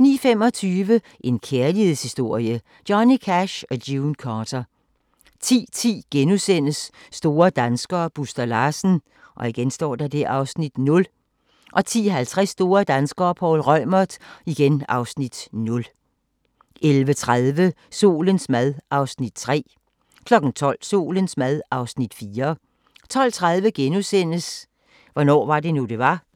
09:25: En kærlighedshistorie – Johnny Cash & June Carter 10:10: Store danskere - Buster Larsen (Afs. 0)* 10:50: Store danskere - Poul Reumert (Afs. 0) 11:30: Solens mad (Afs. 3) 12:00: Solens mad (Afs. 4) 12:30: Hvornår var det nu, det var? *